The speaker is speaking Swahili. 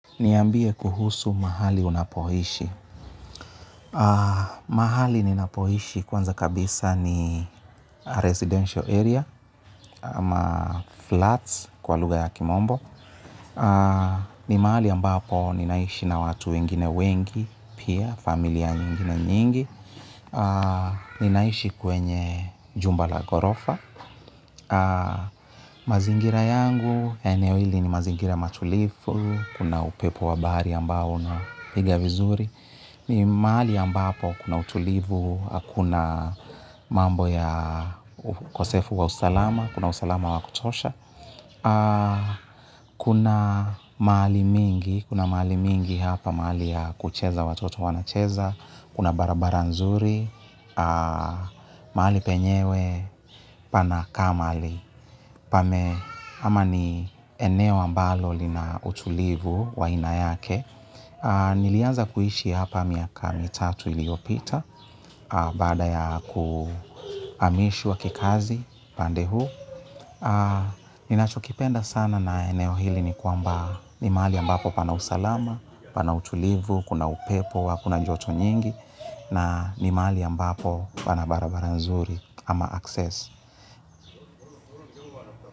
Niambie kuhusu mahali unapoishi mahali ninapoishi kwanza kabisa ni residential area ama flats kwa lugha ya kimombo. Ni mahali ambapo ninaishi na watu wengine wengi, pia, familia nyingine nyingi. Ninaishi kwenye jumbala gorofa. Mazingira yangu ya eneo hili ni mazingira matulifu kuna upepo wa bahari ambao unapiga vizuri. Ni mahali ambapo kuna utulivu, hakuna mambo ya ukosefu wa usalama, kuna usalama wa kutosha. Kuna mahali mingi, kuna mahali mingi hapa mahali ya kucheza watoto wanacheza. Kuna barabara nzuri, mahali penyewe, panakaa mahali. Pame, ama ni eneo ambalo lina utulivu wa aina yake. Nilianza kuishi hapa miaka mitatu iliopita. Baada ya kuhamishwa kikazi pande huu ninachokipenda sana na eneo hili ni kwamba ni mahali ambapo pana usalama, pana utulivu, kuna upepo, hakuna joto nyingi. Na ni mahali ambapo pana barabara nzuri ama access.